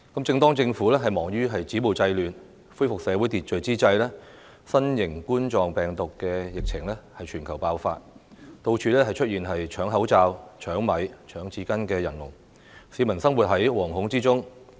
正當政府忙於止暴制亂，恢復社會秩序之際，新型冠狀病毒的疫情在全球爆發，到處出現搶口罩、搶米和搶廁紙的人龍，市民生活在惶恐之中。